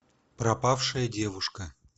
пропавшая девушка